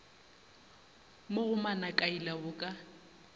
mo go manakaila bo ka